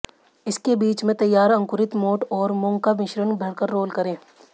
इसके बीच में तैयार अंकुरित मोठ और मूंग का मिश्रण भरकर रोल करें